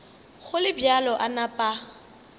go le bjalo a napa